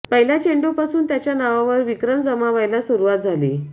पहिल्या चेंडूपासून त्याच्या नावावर विक्रम जमा व्हायला सुरुवात झाली